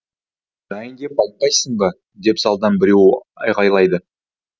жайын деп айтпайсың ба деп залдан біреу айғайлайды